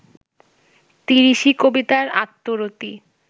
তিরিশি কবিতার আত্মরতি